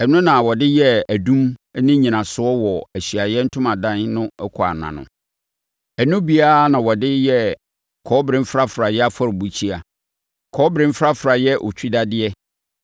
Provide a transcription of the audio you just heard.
Ɛno na wɔde yɛɛ adum no nnyinasoɔ wɔ Ahyiaeɛ Ntomadan no ɛkwan ano. Ɛno bi ara na wɔde yɛɛ kɔbere mfrafraeɛ afɔrebukyia, kɔbere mfrafraeɛ otwidadeɛ,